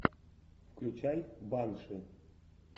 включай банши